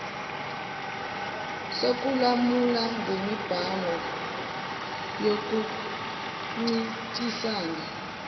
sokulamula ngemibango yokuncintisana